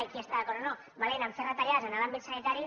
i qui hi està d’acord o no valent a fer retallades en l’àmbit sanitari